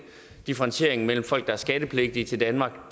differentiering mellem folk der er skattepligtige til danmark